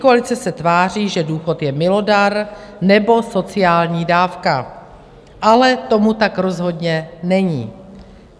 Pětikoalice se tváří, že důchod je milodar nebo sociální dávka, ale tomu tak rozhodně není.